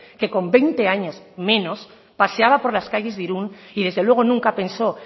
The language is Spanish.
que con veinte años menos paseaba por las calles de irún y desde luego nunca pensó